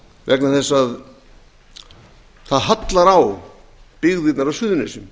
vegna þess að það hallar á byggðirnar á suðurnesjum